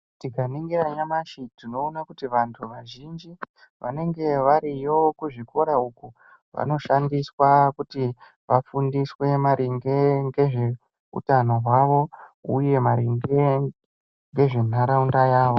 Tikaningira nyamashi tinoona kuti vantu vazhinji wanenge wariyo kuzvikora uku wanoshandiswa kuti wafundiswe maringe ngezveutano hwavo uye maringe ngezvenharaunda yavo